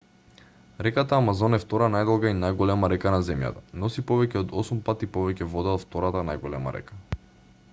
реката амазон е втора најдолга и најголема река на земјата носи повеќе од 8 пати повеќе вода од втората најголема река